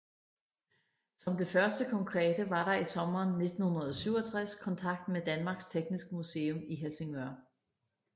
Som det første konkrete var der i sommeren 1967 kontakt med Danmarks Tekniske Museum i Helsingør